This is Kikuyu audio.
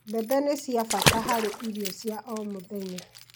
Mbembe ni cia bata harĩ irio cia o mũthenya